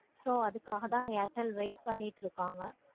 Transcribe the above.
so அதுக்குக்காக தான் airtel wait பண்ணிட்டு இருக்கோம்.